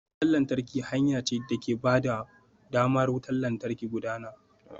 Wutar lantarki hanya ce da ke ba da damar wutar lantarki ta gudana.